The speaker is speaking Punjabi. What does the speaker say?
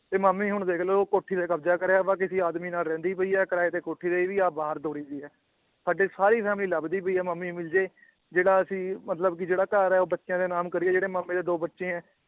ਤੇ ਮਾਮੀ ਹੁਣ ਦੇਖਲੋ ਉਹ ਕੋਠੀ ਤੇ ਕਬਜਾ ਕਰਿਆ ਹੋਇਆ ਕਿਸੀ ਆਦਮੀ ਨਾਲ ਰਹਿੰਦੀ ਪਈ ਏ ਕਰਾਏ ਤੇ ਕੋਠੀ ਦਈ ਹੋਈ ਆਪ ਬਾਹਰ ਦੌੜੀ ਪਈ ਏ ਸਾਡੀ ਸਾਰੀ ਫ਼ੈਮਲੀ ਲੱਭਦੀ ਪਈ ਏ ਮਾਮੀ ਮਿਲਜੇ ਜਿਹੜਾ ਅਸੀ ਮਤਲਬ ਕਿ ਜਿਹੜਾ ਘਰ ਏ ਉਹ ਬੱਚਿਆਂ ਦੇ ਨਾਮ ਕਰੀਏ ਜਿਹੜੇ ਮਾਮੇ ਦੇ ਦੋ ਬੱਚੇ ਏ